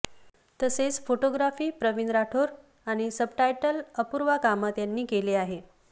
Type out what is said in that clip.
तसेच फोटोग्राफी प्रवीण राठोड आणि सबटाईटल अपूर्वा कामत यांनी केले आहे